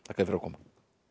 að koma